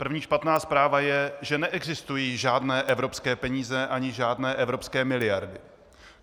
První špatná zpráva je, že neexistují žádné evropské peníze ani žádné evropské miliardy.